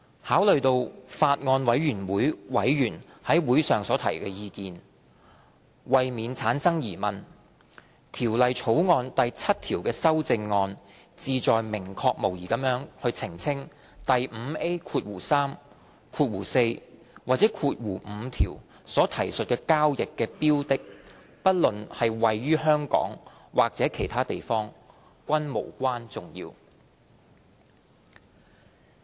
考慮到法案委員會委員於會上所提的意見，為免產生疑問，《條例草案》第7條的修正案旨在明確無疑地澄清第 5A3、4或5條所提述的交易的標的，不論是位於香港或其他地方，均無關重要。